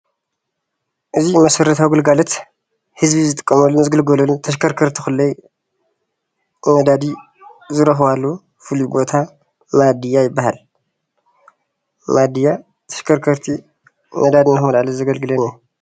እዚ መሠረታዋ ግልጋሎት ህዝቢ ዝጥቀመሉን ዝግልገልሉን ተሽከርከርቲ ኾለይ ነዳዲ ዝርኽባሉን ፍሉይ ቦታ ማድያ ይበሃል። ማድያ ተሽከርከርቲ ነዳዲ ንክመላኣሉ ዘገልግለና እዩ።